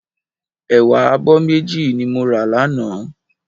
Ẹ̀wà abọ́ méjì ni mo rà lánàá.